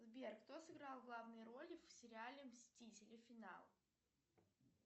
сбер кто сыграл главные роли в сериале мстители финал